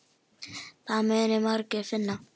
Það munu margir finna.